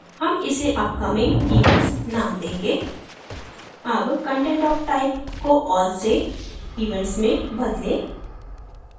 हम इसे upcoming events name change अब content of type को all से events में बदलें